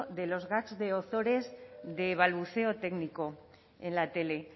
de los gags de ozores de balbuceo técnico en la tele